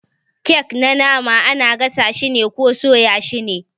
kek na nama ana gasa shi ko soya shi ne.